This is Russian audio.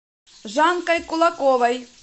жанкой кулаковой